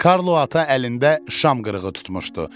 Karlo ata əlində şam qırığı tutmuşdu.